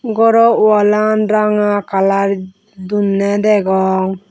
goro wallan ranga kalar donney degong.